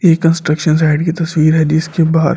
ये construction site की तस्वीर है जिसके बाहर--